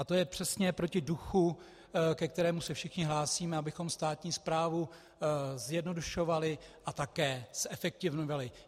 A to je přesně proti duchu, ke kterému se všichni hlásíme, abychom státní správu zjednodušovali a také zefektivňovali.